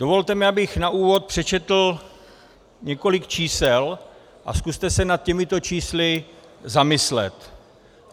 Dovolte mi, abych na úvod přečetl několik čísel, a zkuste se nad těmito čísly zamyslet.